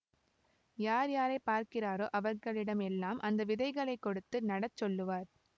யார் யாரை பார்க்கிறாரோ அவர்களிடம் எல்லாம் அந்த விதைகளை கொடுத்து நடச் சொல்லுவார்